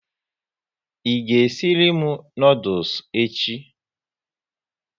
I ga esiri m noodules echi?